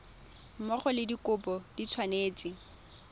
mmogo le dikopo di tshwanetse